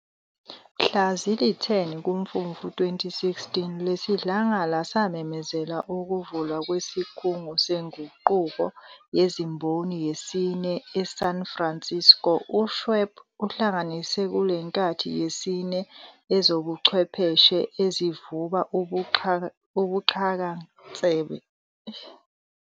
Mhla zili-10 Kumfumfu 2016, lesiDlangala samemezela ukuvulwa kwesiKhungo seNguquko yeziMboni yesine e-San Francisco. U-Schwab uhlanganisa kulenkathi yesine ezobuchwepheshe ezivuba ubuxhakansebenzohardware. izinhlelokusebenzasoftware. nomchazampilocyber-physical systems. futhi ugcizelela intuthuko kwezokuxhumana noxhumano.